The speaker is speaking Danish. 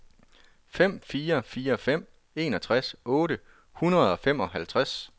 fem fire fire fem enogtres otte hundrede og femoghalvtreds